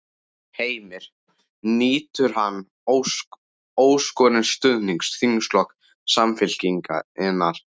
Heimir: Nýtur hann óskorins stuðnings þingflokks Samfylkingarinnar?